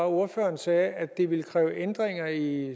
ordføreren sagde at det ville kræve ændringer i